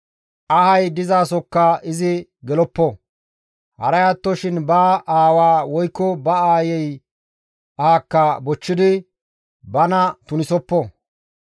Ahay dizasokka izi geloppo; haray attoshin ba aawa woykko ba aayey ahakka bochchidi bana tunisoppo.